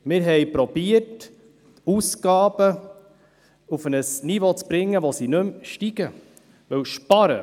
Wir haben versucht, Ausgaben auf ein Niveau zu bringen, bei dem sie nicht mehr ansteigen.